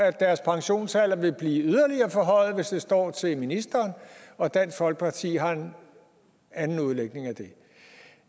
at deres pensionsalder vil blive yderligere forhøjet hvis det står til ministeren og dansk folkeparti har en anden udlægning af det